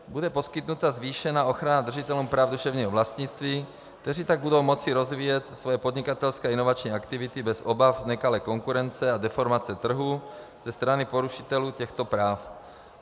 Bude poskytnuta zvýšená ochrana držitelům práv duševního vlastnictví, kteří tak budou moci rozvíjet své podnikatelské inovační aktivity bez obav z nekalé konkurence a deformace trhu ze strany porušitelů těchto práv.